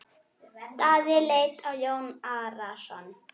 Daði leit á Jón Arason.